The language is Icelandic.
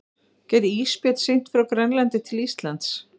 Gæti ísbjörn synt frá Grænlandi til Íslands?